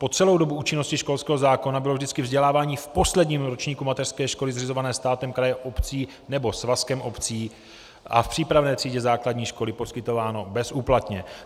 Po celou dobu účinnosti školského zákona bylo vždycky vzdělávání v posledním ročníku mateřské školy zřizované státem, krajem, obcí nebo svazkem obcí a v přípravné třídě základní školy poskytováno bezúplatně.